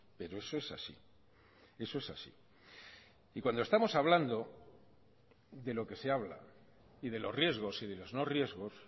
pero eso es así eso es así y cuando estamos hablando de lo que se habla y de los riesgos y de los no riesgos